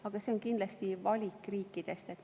Aga see on kindlasti vaid valik riikidest.